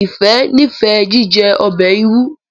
Ifẹ n'ifẹ jíjẹ ọbẹ ìrù